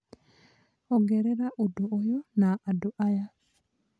ongerera ũndũ ũyũ na andũ aya